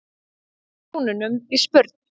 brúnunum í spurn.